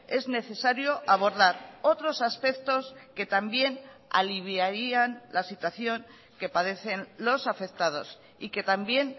es necesario abordar otros aspectos que también aliviarían la situación que padecen los afectados y que también